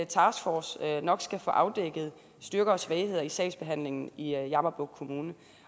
taskforcen nok skal få afdækket styrker og svagheder i sagsbehandlingen i jammerbugt kommune